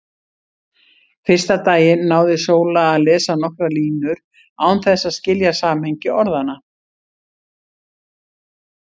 Fyrsta daginn náði Sóla að lesa nokkrar línur án þess að skilja samhengi orðanna.